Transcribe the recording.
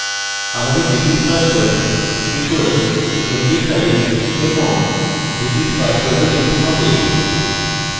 আমাদের repeat password equals md5 এবং repeat password ও লিখতে হবে